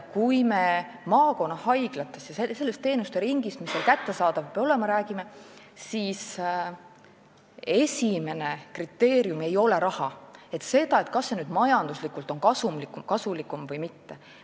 Kui me räägime maakonnahaiglatest ja sellest teenuseringist, mis seal kättesaadav peab olema, siis esimene kriteerium ei ole raha, see, kas see majanduslikult on kasulikum või mitte.